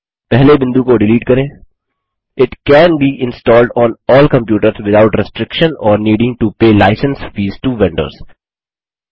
पहले बिंदु को डिलीट करें it can be installed on all computers without restriction or needing to pay licence fees to vendors